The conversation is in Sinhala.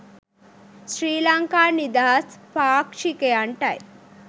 ශ්‍රී ලංකා නිදහස් පාක්ෂිකයන්ටයි